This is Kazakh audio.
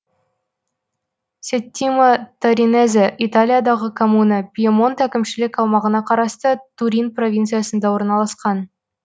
сеттимо торинезе италиядағы коммуна пьемонт әкімшілік аумағына қарасты турин провинциясында орналасқан